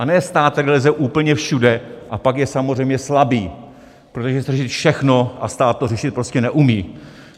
A ne stát, který leze úplně všude, a pak je samozřejmě slabý, protože chce řešit všechno a stát to řešit prostě neumí.